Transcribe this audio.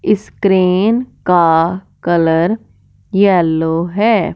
इस क्रेन का colour yellow है।